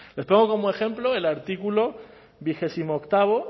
les pongo como ejemplo el artículo veintiocho